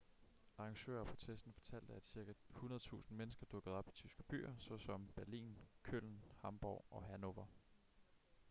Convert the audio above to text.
arrangører af protesten fortalte at cirka 100.000 mennesker dukkede op i tyske byer såsom berlin köln hamborg og hanover